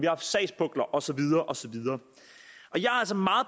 haft sagspukler og så videre og så videre